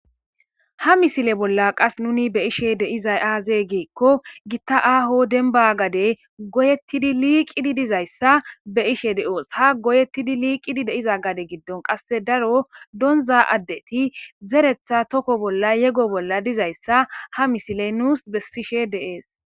ha misile bolla qas nuni be ishe deizay aazee giikko gitta aaho denimba gadey goyettidi liiqidi dizayssa be'ishe de'oos ha goyettidi liiqidi deiza gade giddon qasse daro donza addeti zeretha tokko bolla yego bolla dizayssa ha misiley nuus bessishe deees